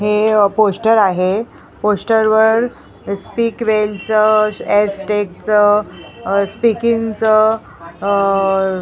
हे पोस्टर आहे पोस्टर वर स्पीक वेलचं एस टेकचं स्पीकिंगचं आह--